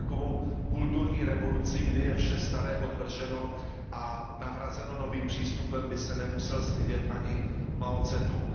Za takovou kulturní revoluci, kdy je vše staré odvrženo a nahrazeno novým přístupem, by se nemusel stydět ani Mao Ce tung.